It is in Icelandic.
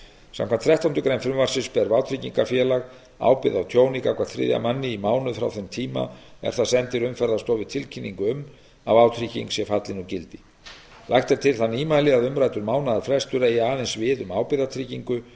samkvæmt þrettándu greinar frumvarpsins ber vátryggingafélag ábyrgð á tjóni gagnvart þriðja manni í mánuð frá þeim tíma er það sendir umferðarstofu tilkynningu um að vátrygging sé fallin úr gildi lagt er til það nýmæli að umræddur mánaðarfrestur eigi aðeins við um ábyrgðartryggingu